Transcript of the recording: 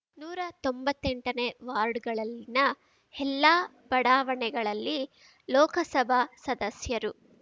ನೂರಾ ತೊಂಬತ್ತೆಂಟನೇ ವಾರ್ಡ್‌ಗಳಲ್ಲಿನ ಎಲ್ಲಾ ಬಡಾವಣೆಗಳಲ್ಲಿ ಲೋಕಸಭಾ ಸದಸ್ಯರು